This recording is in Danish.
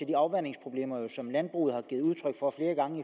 de afvandingsproblemer som landbruget har givet udtryk for flere gange